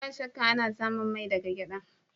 Ba shakka, ana samun mai daga gyada.